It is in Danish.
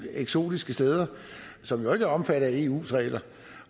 eksotiske steder som jo ikke er omfattet af eus regler